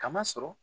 Kama sɔrɔ